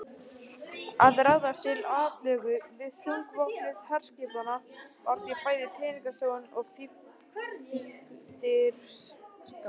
Að ráðast til atlögu við þungvopnuð herskipin var því bæði peningasóun og fífldirfska.